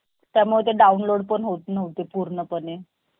त्यामुळे ते download पण होत नव्हते पूर्णपणे